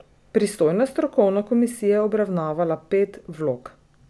Pristojna strokovna komisija je obravnavala pet vlog.